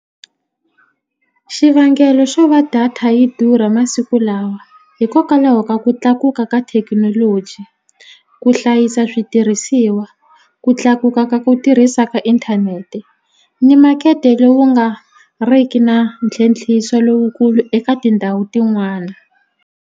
Xivangelo xo va data yi durha masiku lawa hikokwalaho ka ku tlakuka ka thekinoloji ku hlayisa switirhisiwa ku tlakuka ka ku tirhisa ka inthanete ni makete lowu nga riki na ntlhentlhiso lowukulu eka tindhawu tin'wana.